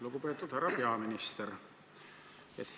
Lugupeetud härra peaminister!